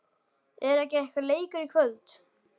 Er ekki einhver leikur í kvöld?